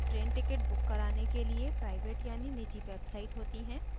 train ticket book कराने के लिए प्राइवेट यानि निजी websites होती हैं